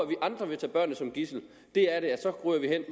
vi andre vil tage børnene som gidsel så ryger vi hen